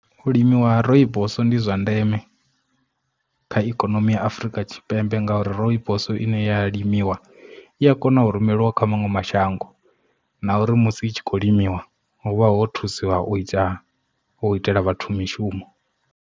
U limiwa ha rooibos ndi zwa ndeme kha ikonomi ya Afurika Tshipembe ngauri rooibos ine ya limiwa i a kona u rumeliwa kha maṅwe mashango na uri musi i tshi khou limiwa hu vha ho thusiwa u ita u itela vhathu mishumo.